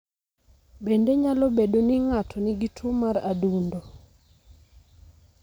Bende nyalo bedo ni ng'ato nigi tuwo mar adundo.